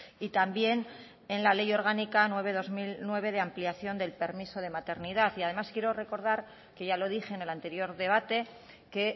y también en la ley orgánica nueve barra dos mil nueve de ampliación del permiso de maternidad además quiero recordar que ya lo dije en el anterior debate que